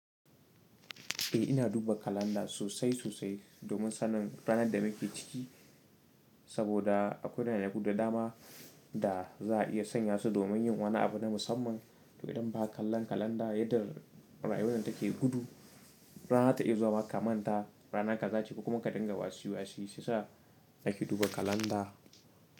Eh ina duba kalanda sosai sosai domin sanin ranar da muke ciki, saboda akwai yanayi guda dama da za a iya sanya su domin yin wani abu na musamman. To idan ba ka kalla kalanda yadda rayuwannan take hudu, rana ta iya zuwa ka manta rana ka gaci kuma ka dinga wasi wasi. Sai sa nake duba kalanda.